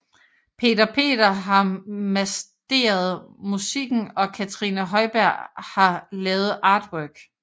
Peter Peter har masteret musikken og Katrine Høyberg har lavet artwork